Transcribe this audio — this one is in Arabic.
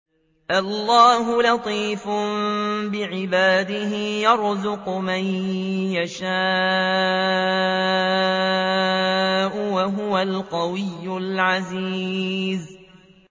اللَّهُ لَطِيفٌ بِعِبَادِهِ يَرْزُقُ مَن يَشَاءُ ۖ وَهُوَ الْقَوِيُّ الْعَزِيزُ